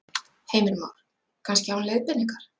Heimir Már: Kannski án leiðbeiningar?